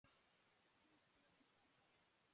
Kannski er það rétt.